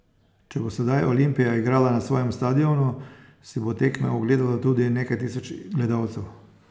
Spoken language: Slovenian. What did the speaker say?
Če bo sedaj Olimpija igrala na svojem stadionu, si bo tekme ogledalo tudi nekaj tisoč gledalcev.